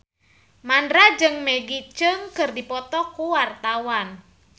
Mandra jeung Maggie Cheung keur dipoto ku wartawan